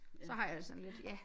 Så har jeg det sådan lidt ja